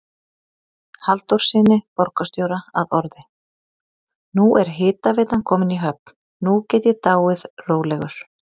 Halldórssyni borgarstjóra að orði: Nú er hitaveitan komin í höfn, nú get ég dáið rólegur